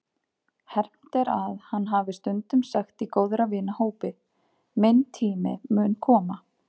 Hermt er að hann hafi stundum sagt í góðra vina hópi: Minn tími mun koma.